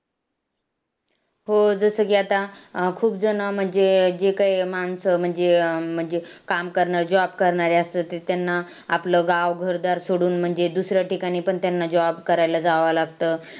हो जसं की आता खूपजणं म्हणजे जे काही माणसं म्हणजे अं म्हणजे काम करणारी, job करणारी असतात ते त्यांना आपलं गांव, घरदार सोडून म्हणजे दुसऱ्या ठिकाणी पण त्यांना job करायला जावावं लागतं.